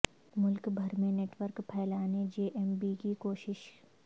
ملک بھر میں network پھیلانے جے ایم بی کی کوشش